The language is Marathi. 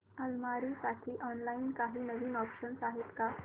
अलमारी साठी ऑनलाइन काही नवीन ऑप्शन्स आहेत का